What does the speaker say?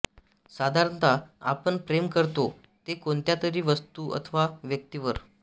साधारणतः आपण प्रेम करतो ते कोणत्यातरी वस्तू अथवा व्यक्तीवर